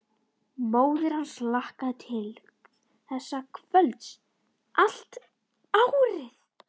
Móðir hans hlakkaði til þessa kvölds allt árið.